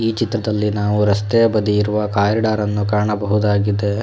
ಈ ಚಿತ್ರದಲ್ಲಿ ನಾವು ರಸ್ತೆಯ ಬದಿಯಲ್ಲಿರುವ ಕಾರಿಡಾರ್ ನ್ನು ಕಾಣಬಹುದಾಗಿದೆ.